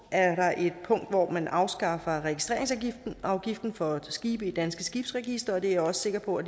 er der et punkt om at man afskaffer registreringsafgiften for skibe i danske skibsregistre det er jeg også sikker på